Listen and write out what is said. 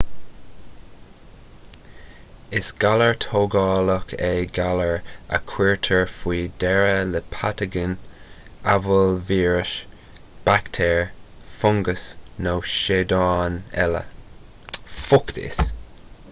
is galar tógálach é galar a chuirtear faoi deara le pataigin amhail víreas baictéar fungas nó seadáin eile